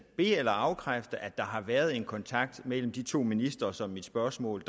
be eller afkræfte at der har været en kontakt mellem de to ministre som mit spørgsmål